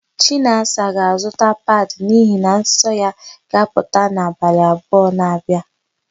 Chinasa ga-azụta padị n'ihi na nsọ ya ga-apụta n'abalị abụọ na-abịa.